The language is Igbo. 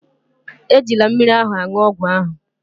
Ejila mmiri ahụ aṅụ ọgwụ ahụ